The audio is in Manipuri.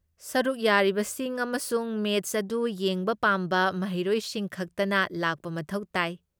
ꯁꯔꯨꯛ ꯌꯥꯔꯤꯕꯁꯤꯡ ꯑꯃꯁꯨꯡ ꯃꯦꯆ ꯑꯗꯨ ꯌꯦꯡꯕ ꯄꯥꯝꯕ ꯃꯍꯩꯔꯣꯏꯁꯤꯡ ꯈꯛꯇꯅ ꯂꯥꯛꯄ ꯃꯊꯧ ꯇꯥꯏ꯫